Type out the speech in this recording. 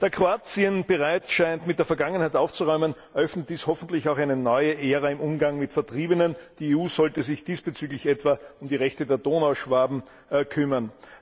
Da Kroatien bereit scheint, mit der Vergangenheit aufzuräumen, eröffnet dies hoffentlich auch eine neue Ära im Umgang mit Vertriebenen. Die EU sollte sich diesbezüglich etwa um die Rechte der Donauschwaben kümmern.